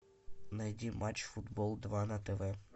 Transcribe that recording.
найди матч футбол два на тв